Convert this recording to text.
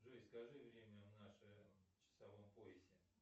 джой скажи время в нашем часовом поясе